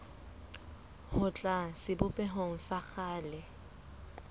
ho tloha sebopehong sa kgale